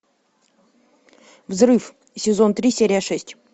взрыв сезон три серия шесть